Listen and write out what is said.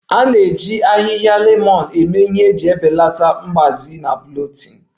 A na-eji ahịhịa lemon eme ihe iji belata mgbaze na bloating